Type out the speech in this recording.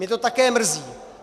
Mě to také mrzí.